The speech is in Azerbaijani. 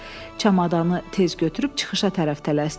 Çamadanı tez götürüb çıxışa tərəf tələsdi.